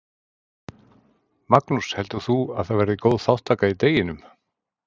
Magnús: Heldur þú að það verði góð þátttaka í deginum?